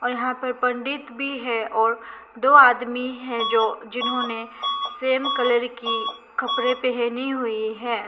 और यहां पर पंडित भी है और दो आदमी है जो जिन्होंने सेम कलर की कपड़े पहनी हुई है।